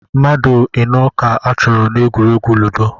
Mmadụ ịnọ ka achọrọ n'egwuregwu ludo